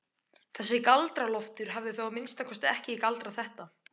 Þessi Galdra-Loftur hafði þá að minnsta kosti ekki galdrað þetta.